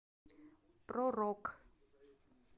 про рок